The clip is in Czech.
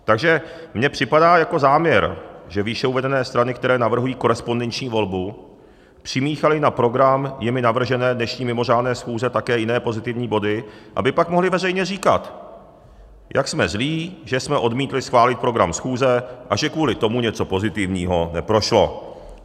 Takže mně připadá jako záměr, že výše uvedené strany, které navrhují korespondenční volbu, přimíchaly na program jimi navržené dnešní mimořádné schůze také jiné pozitivní body, aby pak mohly veřejně říkat, jak jsme zlí, že jsme odmítli schválit program schůze a že kvůli tomu něco pozitivního neprošlo.